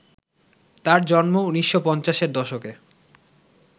তাঁর জন্ম ১৯৫০-এর দশকে